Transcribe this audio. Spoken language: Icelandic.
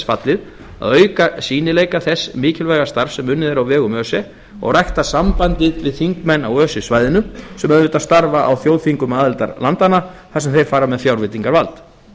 fallið að auka sýnileika þess mikilvæga starfs sem unnið er á vegum öse og rækta sambandið við þingmenn á öse svæðinu sem auðvitað starfa á þjóðþingum aðildarlandanna þar sem þeir fara með fjárveitingavald